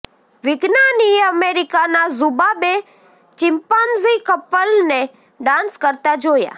વિજ્ઞાનીએ અમેરિકાનાં ઝૂમાં બે ચિમ્પાન્ઝી કપલને ડાન્સ કરતા જોયાં